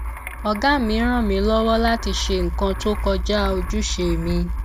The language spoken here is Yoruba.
ògá mi rán mi lọwọ láti ṣe nnkan tó kọjá ojúṣe mi